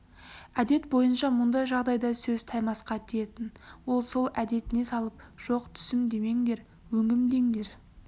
әдет бойынша мұндай жағдайда сөз таймасқа тиетін ол сол әдетіне салып жоқ түсім демеңдер өңім деңдер